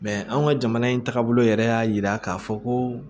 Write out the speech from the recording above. anw ka jamana in taabolo yɛrɛ y'a yira k'a fɔ ko